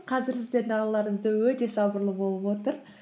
қазір сіздердің алдарыңызда өте сабырлы болып отыр